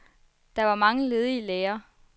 Der var mange ledige læger.